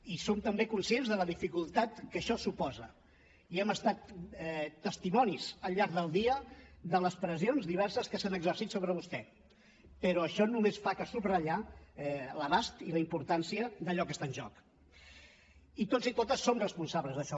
i som també conscients de la dificultat que això suposa i hem estat testimonis al llarg del dia de les pressions diverses que s’han exercit sobre vostè però això només fa que subratllar l’abast i la importància d’allò que està en joc i tots i totes som responsables d’això